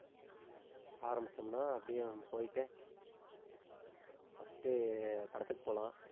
ஆரம்பிச்சோம்னா அப்படியே நம்ம போயிட்டு first உ, படத்துக்கு போலாம்